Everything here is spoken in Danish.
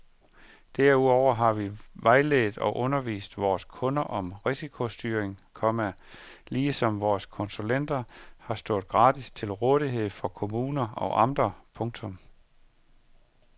Derudover har vi vejledt og undervist vores kunder om risikostyring, komma ligesom vores konsulenter har stået gratis til rådighed for kommuner og amter. punktum